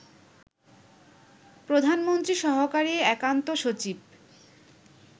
প্রধানমন্ত্রী সহকারী একান্ত সচিব